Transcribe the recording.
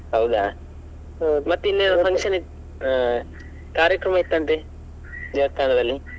ಹೌದಾ, ಇನ್ನೇನ್ function ಇತ್ತ್ ಹಾ ಕಾರ್ಯಕ್ರಮ ಇತ್ತಂತೆ ದೇವಸ್ಥಾನದಲ್ಲಿ.